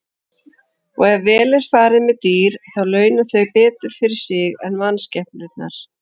Og ef vel er farið með dýr þá launa þau betur fyrir sig en mannskepnurnar.